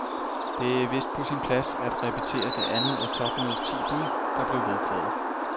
Det er vist på sin plads at repetere det andet af topmødets ti bud, der blev vedtaget.